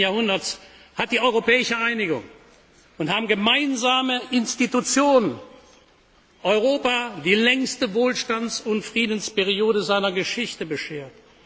des 20. Jahrhunderts hat die europäische Einigung und haben gemeinsame Institutionen Europa die längste Wohlstands und Friedensperiode seiner Geschichte